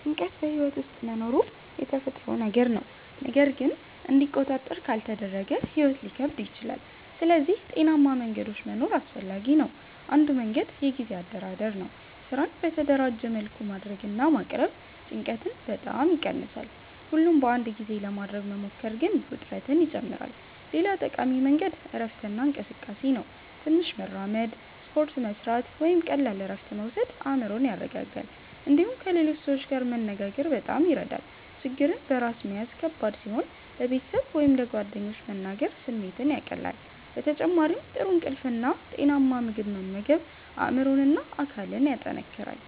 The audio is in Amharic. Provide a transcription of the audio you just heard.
ጭንቀት በሕይወት ውስጥ መኖሩ የተፈጥሮ ነገር ነው፣ ግን እንዲቆጣጠር ካልተደረገ ሕይወት ሊከብድ ይችላል። ስለዚህ ጤናማ መንገዶች መኖር አስፈላጊ ነው። አንዱ መንገድ የጊዜ አደራደር ነው። ስራን በተደራጀ መልኩ ማድረግ እና ማቅረብ ጭንቀትን በጣም ይቀንሳል። ሁሉን በአንድ ጊዜ ለማድረግ መሞከር ግን ውጥረትን ይጨምራል። ሌላ ጠቃሚ መንገድ እረፍት እና እንቅስቃሴ ነው። ትንሽ መራመድ፣ ስፖርት መስራት ወይም ቀላል እረፍት መውሰድ አእምሮን ያረጋጋል። እንዲሁም ከሌሎች ሰዎች ጋር መነጋገር በጣም ይረዳል። ችግርን በራስ መያዝ ከባድ ሲሆን ለቤተሰብ ወይም ለጓደኞች መናገር ስሜትን ያቀላል። በተጨማሪም ጥሩ እንቅልፍ እና ጤናማ ምግብ መመገብ አእምሮን እና አካልን ያጠናክራል።